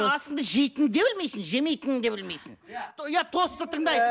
асыңды жейтін де білмейсің жемейтініңді де білмейсің иә иә тосты тыңдайсың